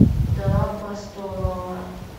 вдова пастора